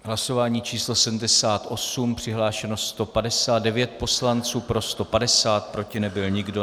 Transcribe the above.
Hlasování číslo 78, přihlášeno 159 poslanců, pro 150, proti nebyl nikdo.